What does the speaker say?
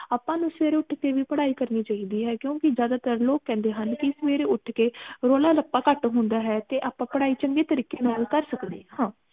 ਆਪਾ ਨੂੰ ਸਵੇਰੇ ਉੱਠ ਕੇ ਵੀ ਪੜ੍ਹਾਈ ਕਰਨੀ ਚਾਹੀਦੀ ਹੈ ਕਿਉਂਕਿ ਜ਼ਿਆਦਾ ਤਰ ਲੋਗ ਕਹਿੰਦੇ ਹਨ ਕਿ ਸਵੇਰੇ ਉੱਠ ਕੇ ਰੌਲਾ ਰਪਾ ਘਟ ਹੁੰਦਾ ਹੈ ਤੇ ਆਪਾ ਪੜ੍ਹਾਈ ਚੰਗੇ ਤਰੀਕੇ ਨਾਲ ਕਰ ਸਕਦੇ ਹਾਂ